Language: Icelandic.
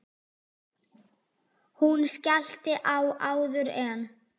Hún skellti á áður en